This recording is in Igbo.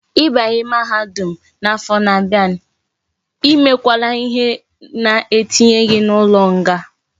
I banye mahadum na afo na abia,e me kwala ihe na etinye gi na ulo nga